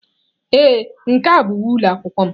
Ee, nke a bụ uwe ụlọ akwụkwọ m.